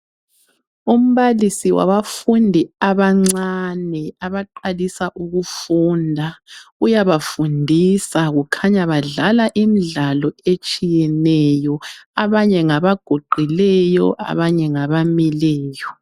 Umbalisi wabafundi abancane abaqalisa ukufunda. Uyabafundisa, kukhanya badlala imidlalo etshiyeneyo. Abanye ngabaguqileyo abanye ngabamileyo.